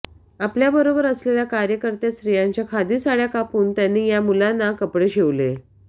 आपल्याबरोबर असलेल्या कार्यकर्त्यां स्त्रियांच्या खादी साडय़ा कापून त्यांनी या मुलांना कपडे शिवले